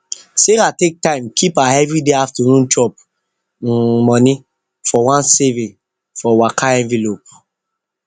sarah take time keep her everyday afternoon chop um money for one saving for waka envelope